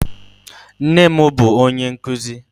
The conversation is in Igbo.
Nne m bụ onye nkuzi.